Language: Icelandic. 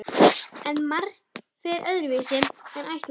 En margt fer öðruvísi en ætlað er.